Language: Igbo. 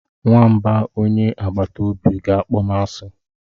Nwamba onye agbata obi ga-akpọ m asị.